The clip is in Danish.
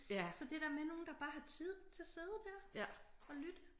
Så det der med nogen der bare har tid til at sidde der og lytte